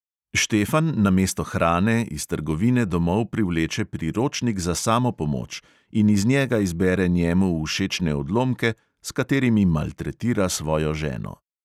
Štefan namesto hrane iz trgovine domov privleče priročnik za samopomoč in iz njega izbere njemu všečne odlomke, s katerimi maltretira svojo ženo.